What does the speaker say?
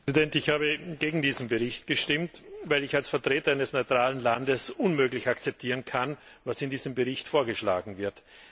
Herr Präsident! Ich habe gegen diesen Bericht gestimmt, weil ich als Vertreter eines neutralen Landes unmöglich akzeptieren kann, was in diesem Bericht vorgeschlagen wird.